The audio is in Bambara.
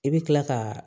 I bɛ kila ka